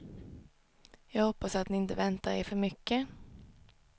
Jag hoppas att ni inte väntar er för mycket.